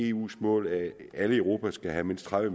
eus mål at alle i europa skal have mindst tredive